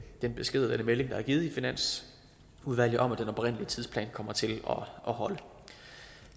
den besked eller melding der er givet i finansudvalget om at den oprindelige tidsplan kommer til at holde